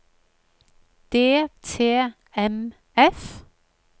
DTMF